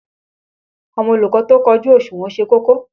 Àwọn olùkọ́ tó kójú òṣùnwọ̀n ṣe kókó.